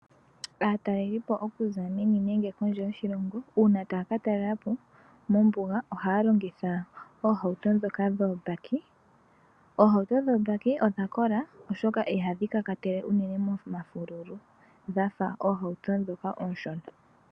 Aatalelipo okuza meni nenge kondje yoshilongo uuna taya ka talela po mombuga ohaya longitha oohauto ndhoka dhoobaki. Oohauto ndhoka dhoobaki odha kola, oshoka ihadhi tyuulile momafululu dha fa ohauto ndhoka oonshona.